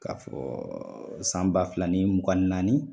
K'a fɔ san ba fila ni mugan naani